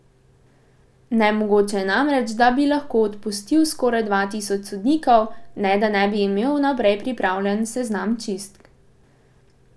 Nemogoče je namreč, da bi lahko odpustil skoraj dva tisoč sodnikov, ne da ne bi imel vnaprej pripravljen seznam čistk.